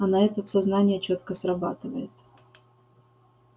а на этот сознание чётко срабатывает